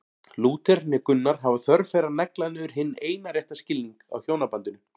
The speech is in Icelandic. Lúther né Gunnar hafa þörf fyrir að negla niður hinn eina rétta skilning á hjónabandinu.